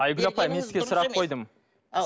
айгүл апай мен сізге сұрақ қойдым ау